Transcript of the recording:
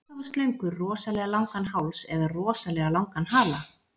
Hvort hafa slöngur rosalega langan háls eða rosalega langan hala?